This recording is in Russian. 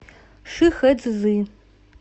шихэцзы